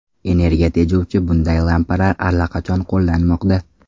Energiya tejovchi bunday lampalar allaqachon qo‘llanmoqda.